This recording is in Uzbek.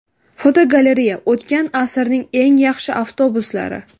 Fotogalereya: O‘tgan asrning eng yaxshi avtobuslari.